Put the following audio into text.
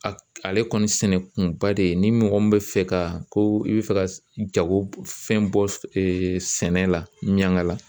Ale kɔni sɛnɛ kunba de ni mɔgɔ min bɛ fɛ ka ko i bɛ fɛ ka jagofɛn bɔ sɛnɛ la ɲɛnga la